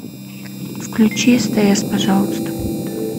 включи стс пожалуйста